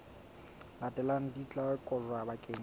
latelang di tla kotjwa bakeng